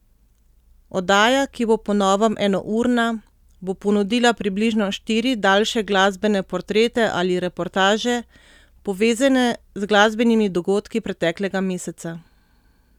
Oddaja, ki bo po novem enourna, bo ponudila približno štiri daljše glasbene portrete ali reportaže, povezane z glasbenimi dogodki preteklega meseca.